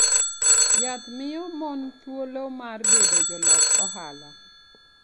Yath miyo mon thuolo mar bedo jolok ohala.